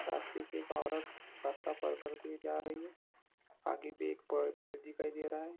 रास्ते से एक औरत रास्ते पार करते हुये जा रही हैं आगे भी एक पेड़ दिखाई दे रहा हैं।